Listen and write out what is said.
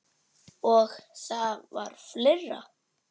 Og það var fleira.